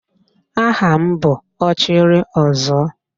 Aha m bụ Ọchịrịọzụọ